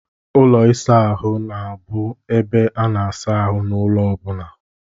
Ụlọ ịsa ahụ bụ ebe a na-asa ahụ n'ụlọ ọbụna.